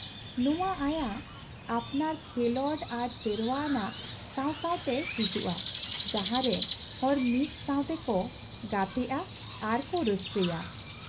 ᱱᱚᱶᱟ ᱟᱭᱟᱜ ᱟᱯᱱᱟᱨ ᱠᱷᱮᱞᱚᱸᱰ ᱟᱨ ᱥᱮᱨᱣᱟ ᱟᱱᱟᱜ ᱥᱟᱶ ᱥᱟᱶᱛᱮ ᱦᱤᱡᱩᱜᱼᱟ ᱡᱟᱦᱟᱸ ᱨᱮ ᱦᱚᱲ ᱢᱤᱫ ᱥᱟᱶᱛᱮ ᱠᱚ ᱜᱟᱛᱮᱜᱼᱟ ᱟᱨ ᱠᱚ ᱨᱟᱹᱥᱠᱟᱹᱭᱟ ᱾